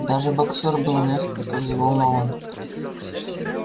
даже боксёр был несколько взволнован